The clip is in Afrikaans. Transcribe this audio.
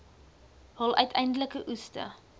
hul uiteindelike oeste